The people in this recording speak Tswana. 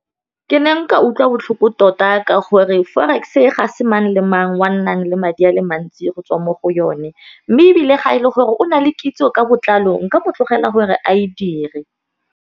Ke ne nka utlwa botlhoko tota ka gore forex-e ga se mang le mang wa nnang le madi ale mantsi go tswa mo go yone, mme ebile ga e le gore o na le kitso ka botlalo nka mo tlogela gore a e dire.